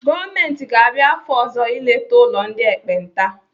Gọọmenti ga-abịa afọ ọzọ ileta ụlọ ndị ekpenta.